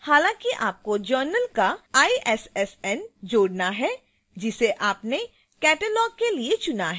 हालांकि आपको journal का issn जोड़ना है जिसे आपने catalog के लिए चुना है